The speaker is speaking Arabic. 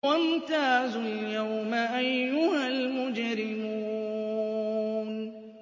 وَامْتَازُوا الْيَوْمَ أَيُّهَا الْمُجْرِمُونَ